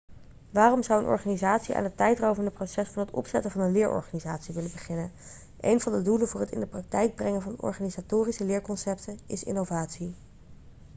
waarom zou een organisatie aan het tijdrovende proces van het opzetten van een leerorganisatie willen beginnen een van de doelen voor het in de praktijk brengen van organisatorische leerconcepten is innovatie